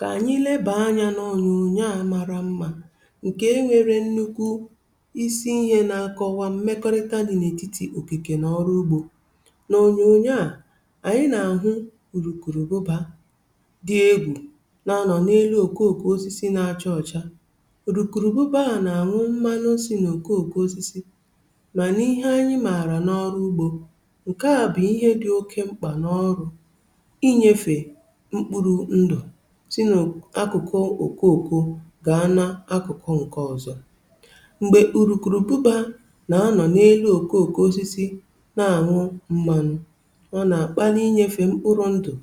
Kà ànyị lebàa anyȧ n’ònyònyo a mara mmȧ, ǹkè e nwere nnukwu isi ihe na-akọwa mmekọrịta dị n’ètitì okìkè n’ọrụ ugbȯ. N’ònyònyo a, ànyị nà-àhụ ùrùkùrùbụbà dị egwù, nọ nọ n’elu òkòòzìzò na-acha ọcha. Ùrùkùrùbụbà hà nà-àṅụ mmanụ, um o sì nà òkòòzìzò; mà n’ihe anyị màrà n’ọrụ ugbȯ, ǹkè à bụ̀ ihe dị oke mkpà n’ọrụ̀ inyefe mkpụrụ ndụ̀ gà nà-akụkọ̀ ǹkè ọ̀zọ̀.M̀gbè ùrùkùrùbụbà nà-anọ̀ n’elu òkòòkò osisi, nà-àṅụ mmanụ̀, ọ nà-àkpalà inyefe mkpụrụ̇ ndụ̀, um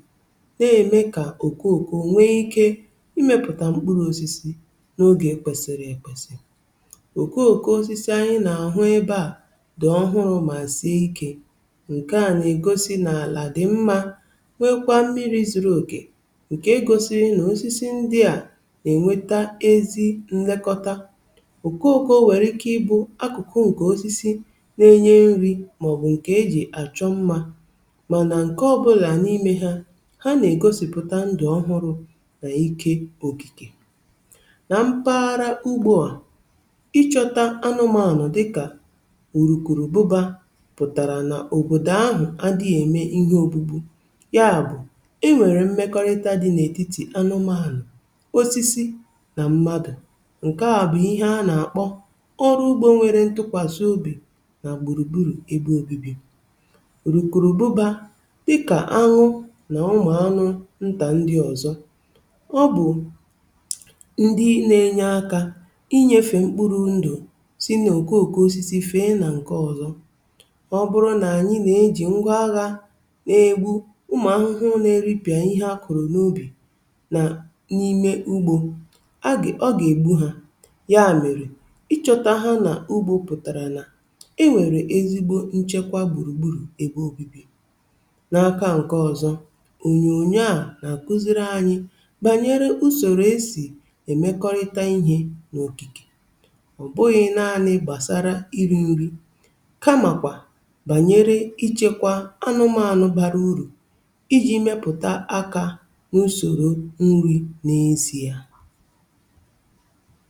nà-èmekwa kà òkòò nwe ikė imèpụ̀tà mkpụrụ̇ osisi n’ogè kwèsìrì èkwèsì. Òkòòkò osisi ànyị nà-àhụ ebe a dị̀ ọhụrụ̇, mà sì ikė; ǹkè à nà-egosi n’àlà dị mma, nwekwa mmiri zuru ògè, nà-ènweta ezi nlekọta. Okooko nwèrè ike ịbụ akụkụ ǹkè osisi na-enye nri̇ màọbụ̀ ǹkè e jì àchọ mma, um mànà ǹkè ọbụla n’ime ha nà-ègosìpụta ndụ̀ ọhụrụ̇ nà ike okìkè nà mpaghara ugbo. Ịchọta anụmȧnụ̀ dịkà ùrùkùrùbụbà pụ̀tàrà nà òbòdò ahụ̀ adị̇ghị̇ eme ihe ògbugbu — ya bụ̀, osisi na mmadụ̀. Ǹkè à bụ̀ ihe a na-akpọ̀ ọrụ ugbȯ nwere ntụkwasị obi nà gburugburu ebe obibi. Ùrùkùrùbụbà, dịkà ahụ na ụmụ anụ̇ ntà ndị ọzọ, bụ̀ ndị na-enye akà inyefe mkpụrụ̇ ndụ̀, sị na-oke òkè n’ime okìkè, um site n’ịfè osisi fee nke ọzọ. Ọ bụrụ̀ na ànyị na-eji ngwa agha na-egbu ụmụ ahụhụ, nà-eripịà ihe akụ̀rụ̀ n’ubì, agị, ọ gà-ègbu ha; ya mèrè ịchọ̇tȧ ha n’ugbȯ pụ̀tàrà nà e nwèrè ezigbo nchekwa gbùrùgburù ebe obibi̇ n’aka nke ọ̀zọ. Ònyònyo à nà-akụziri ànyị um bànyere usòrò esì èmekọrịta ihe n’òkìkè, ọ̀ bụghị̇ naanị̇ gbasara iri̇ nri̇, kamàkwà bànyere ichèkwà anụmȧnụ̀ bara uru̇ n’isi ya.